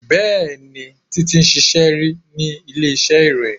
Bẹẹni, Títi ti ṣíṣe ri ni ilé iṣẹ́ ìròyìn